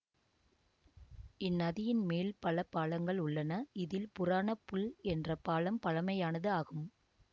இந்நதியின் மேல் பல பாலங்கள் உள்ளன இதில் புராண புல் என்ற பாலம் பழமையானது ஆகும்